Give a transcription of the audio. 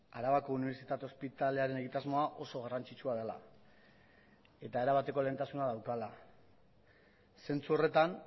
arabako unibertsitate ospitalearen egitasmoa oso garrantzitsua dela eta erabateko lehentasuna daukala zentzu horretan